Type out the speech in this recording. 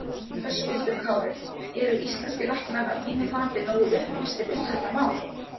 Höskuldur Kári: Eru íslenskir læknar að þínu mati nógu upplýstir um þetta mál?